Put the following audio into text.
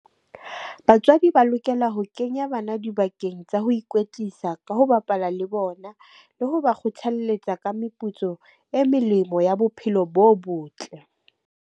Batswadi ba lokela ho kenya bana dibakeng tsa ho ikwetlisa ka ho bapala le bona, le ho ba kgothalletsa ka meputso e melemo ya bophelo bo botle.